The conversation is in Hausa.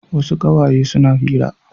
Wasu ƙawaye suna hira.